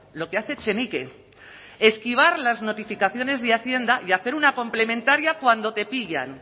lo que hace echenique esquivar las notificaciones de hacienda y hacer una complementaria cuando te pillan